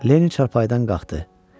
Lenni çarpayıdan qalxdı.